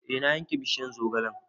E na yanke bishiyar zogalen